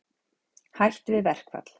Hætt við verkfall